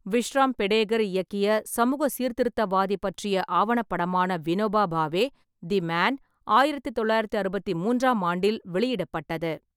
விஷ்ராம் பெடேகர் இயக்கிய சமூக சீர்திருத்தவாதி பற்றிய ஆவணப்படமான வினோபா பாவே, தி மேன், ஆயிரத்து தொள்ளாயிரத்து அறுபத்தி மூன்றாம் ஆண்டில் வெளியிடப்பட்டது.